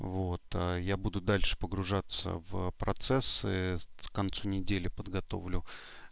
вот а я буду дальше погружаться в процессы в концу недели подготовлю